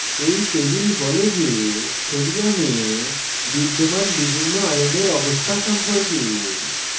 এই table বলে যে sodium বিদ্যমান বিভিন্ন আয়নের অবস্থা সম্পর্কে